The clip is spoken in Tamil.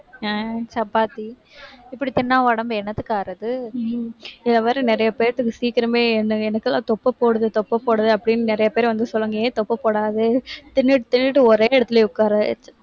ஆஹ் chapatti இப்படி தின்னா உடம்பு என்னத்துக்கு ஆறது? இந்த மாதிரி நிறைய பேத்துக்கும் சீக்கிரமே, இந்த எனக்கெல்லாம் தொப்பை போடுது, தொப்பை போடுது அப்படின்னு நிறைய பேர் வந்து சொல்லுவாங்க. ஏன் தொப்பை போடாது தின்னுட்டு தின்னுட்டு ஒரே இடத்துல உட்கார